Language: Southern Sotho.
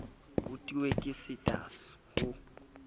ho tu ke sitwa ho